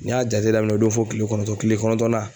N y'a jate daminɛ o don fɔ kile kɔnɔntɔn kile kɔnɔntɔn na